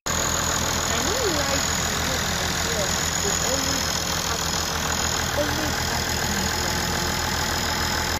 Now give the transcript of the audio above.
i no like the way my girl dey always ask always ask me for money